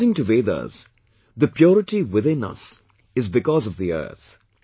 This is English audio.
According to Vedas, the purity within us is because of the Earth